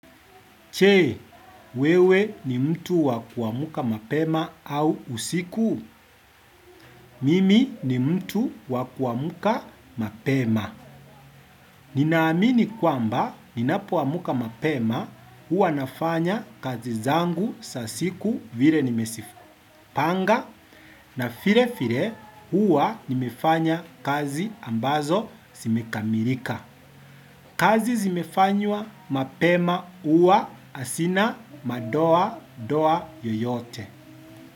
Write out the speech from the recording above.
Chee, wewe ni mtu wa kuamuka mapema au usiku? Mimi ni mtu wakuamuka mapema. Nina amini kwamba ninapoamuka mapema huwa nafanya kazi zangu sa siku vire nimesipanga na file file hua nimefanya kazi ambazo simekamirika. Kazi zimefanywa mapema uwa asina madoa doa yoyote.